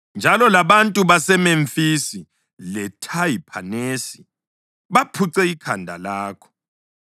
Njalo, labantu baseMemfisi leThahiphanesi baphuce ikhanda lakho.